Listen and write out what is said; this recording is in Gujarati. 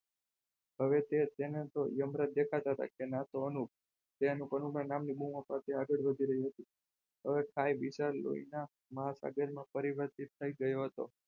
હવે તેને તો યમરાજ દેખાતા હતા કે ના તો અનુપ ટે અનુપ અનુપ ના નામ ની બુમો પડતીં આગળ વધી રાઈ હતી હવે ખાઈ વિશાળ લોઈના મહાસાગર માં પરિવર્તિત થઇ ગયો હતો.